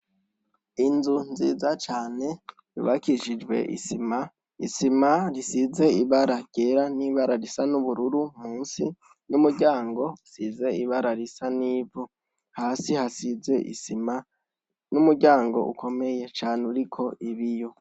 Inzu nziza cane yubakishijwe isima .Isima isize ibara ryera nibara risa nubururu munsi, numuryango usize nibara risa nivu hasi hasize isima numuryango ukomeye cane uriko ibiyo.